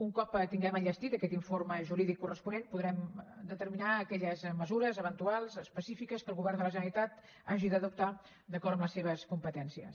un cop tinguem enllestit aquest informe jurídic corresponent podrem determinar aquelles mesures eventuals específiques que el govern de la generalitat hagi d’adoptar d’acord amb les seves competències